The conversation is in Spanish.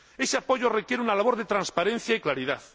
Ese apoyo requiere una labor de transparencia y claridad.